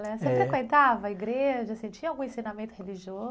Você frequentava a igreja, assim, tinha algum ensinamento religioso?